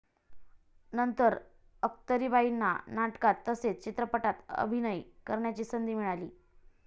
नंतर अख्तरीबाईंना नाटकांत तसेच चित्रपटांत अभिनय करण्याची संधी मिळाली.